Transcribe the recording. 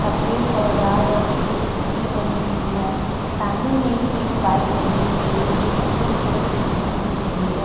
सफेद लाल रंग कि एक सीढ़ी बनी हुई है। सामने में ही एक बाइक लगी हुई है जो कि पूरी तरीके से नही दिख रही है।